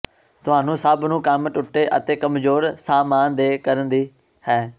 ਤੁਹਾਨੂੰ ਸਭ ਨੂੰ ਕੰਮ ਟੁੱਟੇ ਅਤੇ ਕਮਜ਼ੋਰ ਸਾਮਾਨ ਦੇ ਕਰਨ ਦੀ ਹੈ